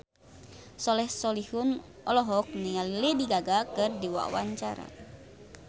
Soleh Solihun olohok ningali Lady Gaga keur diwawancara